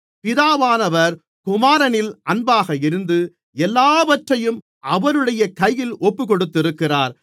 பிதாவானவர் குமாரனில் அன்பாக இருந்து எல்லாவற்றையும் அவருடைய கையில் ஒப்புக்கொடுத்திருக்கிறார்